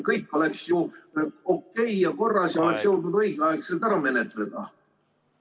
Kõik oleks ju okei ja korras ja kõik oleks jõudnud õigeaegselt ära menetleda.